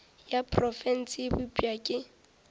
ya profense e bopša ke